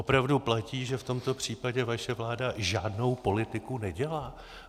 Opravdu platí, že v tomto případě vaše vláda žádnou politiku nedělá?